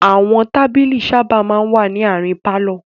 Àwọn tábìlì sábà máa ń wà ní àárín pálọ̀.